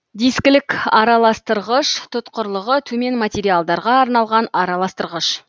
дискілік араластырғыш тұтқырлығы төмен материалдарға арналған араластырғыш